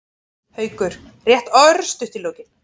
Haukur: Rétt örstutt í lokin.